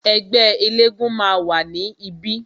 Ẹgbẹ́ elégún máa wà ní ibí